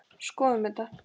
Skoðum þetta